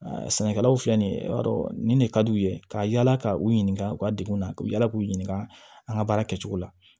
sɛnɛkɛlaw filɛ nin ye i b'a dɔn nin de ka d'u ye ka yala ka u ɲininka u ka degun na ka yala k'u ɲininka an ka baara kɛcogo la